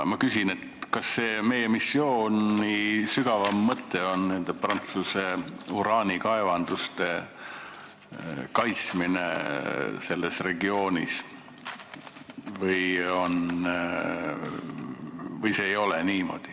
Ma küsin, kas selle missiooni sügavam mõte on Prantsuse uraanikaevanduste kaitsmine selles regioonis või see ei ole niimoodi.